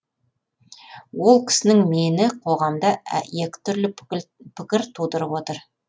ол кісінің мені қоғамда екі түрлі пікір тудырып отыр